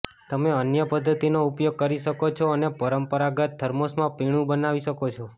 તમે અન્ય પદ્ધતિનો ઉપયોગ કરી શકો છો અને પરંપરાગત થર્મોસમાં પીણું બનાવી શકો છો